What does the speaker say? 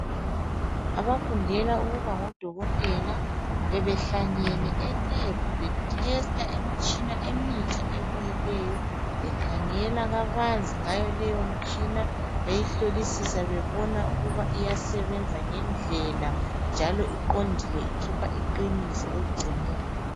Abafundela ukuba ngodokotela bebehlangane elebhu bethesta imitshina emitsha ebuyileyo bekhangela kabanzi ngayo leyo mtshina beyihlolisisa bebona ukuba uyasebenzisa ngendlela njalo iqondile ikhipha iqiniso ekugcineni.